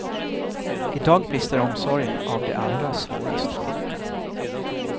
I dag brister omsorgen av de allra svårast sjuka.